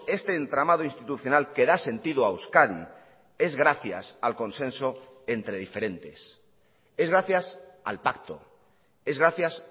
este entramado institucional que da sentido a euskadi es gracias al consenso entre diferentes es gracias al pacto es gracias